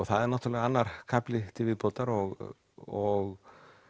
það er náttúrulega annar kafli til viðbótar og og